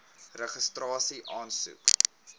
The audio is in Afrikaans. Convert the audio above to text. registrasieaansoek